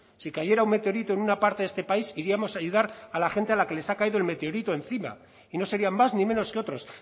si cayera un meteorito en una parte de este país iríamos a ayudar a la gente a la que le ha caído el meteorito encima y no serían más ni menos que otros